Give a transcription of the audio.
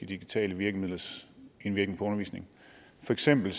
digitale virkemidlers indvirkning på undervisningen for eksempel